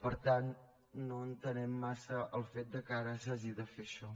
per tant no entenem massa el fet que ara s’hagi de fer això